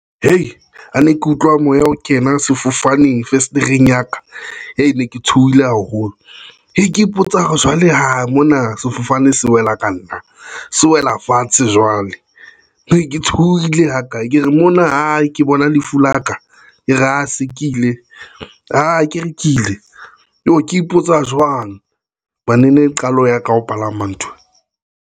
He ha ne ke utlwa moya ho kena sefofaneng fesetereng ya ka ke ne ke tshohile haholo, e ke ipotsa hore jwale ho mona sefofane se wela ka nna se wela fatshe jwale ne ke tshohile ha kae ke re mona ke bona lefu la ka e re a se ke ile a ke rekile eo ke ipotsa jwang ene ele qalo ya ka ho palama nthwe.